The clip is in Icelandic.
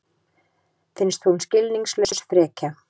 Finnst hún skilningslaus frekja.